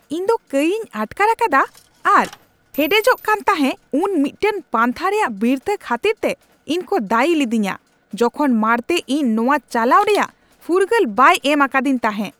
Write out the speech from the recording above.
ᱤᱧᱫᱚ ᱠᱟᱹᱭᱤᱧ ᱟᱴᱠᱟᱨ ᱟᱠᱟᱫᱟ ᱟᱨ ᱦᱮᱰᱮᱡᱚᱜ ᱠᱟᱱ ᱛᱟᱦᱮᱸ ᱩᱱ ᱢᱤᱫᱴᱟᱝ ᱯᱟᱱᱛᱷᱟ ᱨᱮᱭᱟᱜ ᱵᱤᱨᱛᱷᱟᱹ ᱠᱷᱟᱹᱛᱤᱨ ᱛᱮ ᱤᱧᱠᱚ ᱫᱟᱹᱭᱤ ᱞᱤᱫᱤᱧᱟ ᱡᱚᱠᱷᱚᱱ ᱢᱟᱲᱛᱮ ᱤᱧ ᱱᱚᱶᱟ ᱪᱟᱞᱟᱣ ᱨᱮᱭᱟᱜ ᱯᱷᱩᱨᱜᱟᱹᱞ ᱵᱟᱭ ᱮᱢ ᱟᱠᱟᱫᱤᱧ ᱛᱟᱦᱮᱸ ᱾